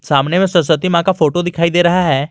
सामने में सरस्वती मां का फोटो दिखाई दे रहा है।